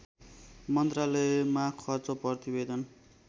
मन्त्रालयमा खर्च प्रतिवेदन